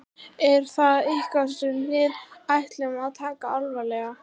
Er það eitthvað sem við ættum að taka alvarlega?